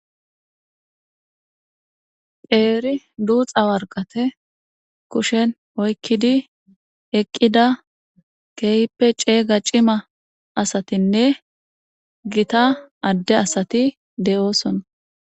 Qeeri duuxa worqathe kushen oykkidi eqqida keehippe ceega cima asathinne githa adde asathi de7oosona.